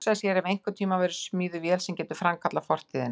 Hugsa sér ef einhvern tíma verður smíðuð vél sem getur framkallað fortíðina.